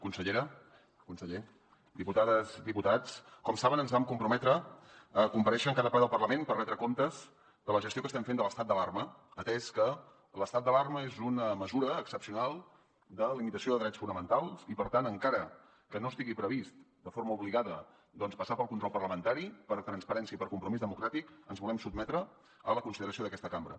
consellera conseller diputades i diputats com saben ens vam comprometre a comparèixer en cada ple del parlament per retre comptes de la gestió que estem fent de l’estat d’alarma atès que l’estat d’alarma és una mesura excepcional de limitació de drets fonamentals i per tant encara que no estigui previst de forma obligada doncs passar pel control parlamentari per transparència i per compromís democràtic ens volem sotmetre a la consideració d’aquesta cambra